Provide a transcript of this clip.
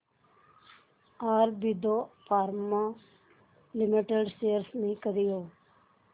Aurobindo pharma limited shares मी कधी घेऊ